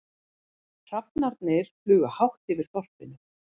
Hrafnarnir fljúga hátt yfir þorpinu.